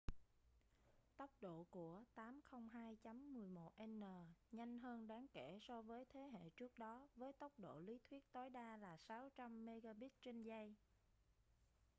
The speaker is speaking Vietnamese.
tốc độ của 802.11n nhanh hơn đáng kể so với thế hệ trước đó với tốc độ lý thuyết tối đa là 600mbit/giây